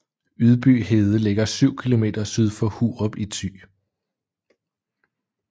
Ydby Hede ligger syv kilometer syd for Hurup i Thy